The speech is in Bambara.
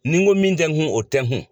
Ni n ko min tɛ n kun o tɛ n kun